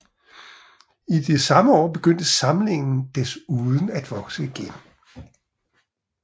I de samme år begyndte samlingen desuden at vokse igen